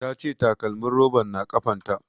Ta ce takalmin roban na kafan ta